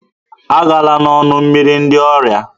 Agala n'ọnụ mmiri ndị ọrịa